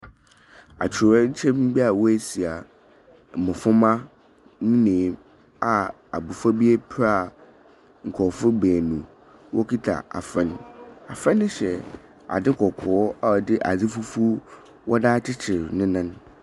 Atɔwɛnkyɛm bi a wo si a mmɔframa ebien a abɔfra bi apra a nkrɔfo beenu wokita abɔfra no. Afra no hyɛ adzi kɔkɔɔ a ɔdi fufuw wɔ dza kyerɛw ne nan.